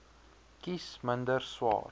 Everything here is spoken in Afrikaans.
kies minder swaar